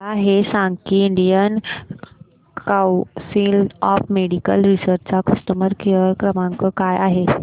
मला हे सांग की Indian council of medical research चा कस्टमर केअर क्रमांक काय आहे